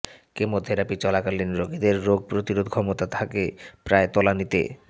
chemotherapy চলাকালীন রোগীদের রোগ প্রতিরোধ ক্ষমতা থাকে প্রায় তলানিতে